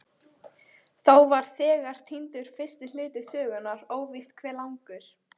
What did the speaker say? Þá var þegar týndur fyrsti hluti sögunnar, óvíst hve langur.